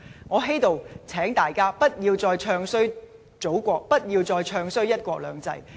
我在此請大家不要再"唱衰"祖國，不要再"唱衰""一國兩制"。